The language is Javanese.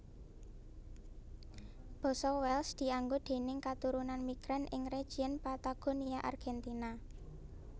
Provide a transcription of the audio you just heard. Basa Welsh dianggo déning katurunan migran ing region Patagonia Argentina